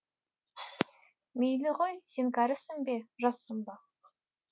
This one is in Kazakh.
мейлі ғой сен кәрісің бе жассың ба